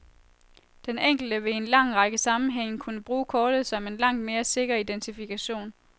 Den enkelte vil i en lang række sammenhænge kunne bruge kortet som en langt mere sikker identifikation.